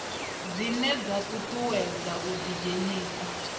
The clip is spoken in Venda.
dzine dza ṱuṱuwedza u ḓidzhenisa